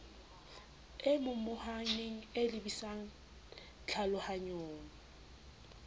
e momohaneng e lebisang tlhalohanyong